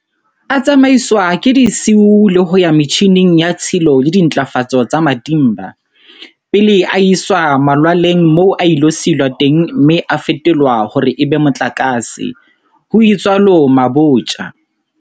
A tsamaiswa ka disiu le ho ya metjhineng ya tshilo le dintlafatso tsa Matimba, pele a iswa malwaleng moo a ilo silwa teng mme a fetolwa hore e be motlakase, ho itsalo Mabotja.